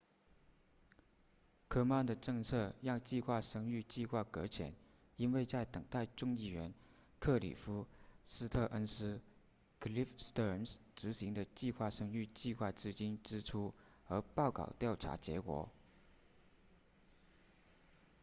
科曼的政策让计划生育计划搁浅因为在等待众议员克里夫斯特恩斯 cliff stearns 执行的计划生育计划资金支出和报告调查结果